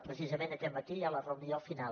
precisament aquest matí hi ha la reunió final